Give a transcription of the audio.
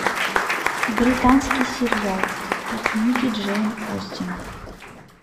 британский сериал по книге джейн остин